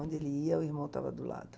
Onde ele ia, o irmão estava do lado.